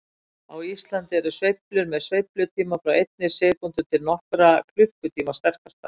Á Íslandi eru sveiflur með sveiflutíma frá einni sekúndu til nokkurra klukkutíma sterkastar.